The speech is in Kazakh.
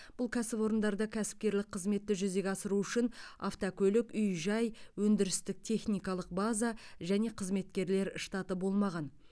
бұл кәсіпорындарда кәсіпкерлік қызметті жүзеге асыру үшін автокөлік үй жай өндірістік техникалық база және қызметкерлер штаты болмаған